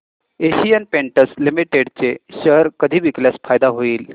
Asian paints limited चे share कधी विकल्यास फायदा होईल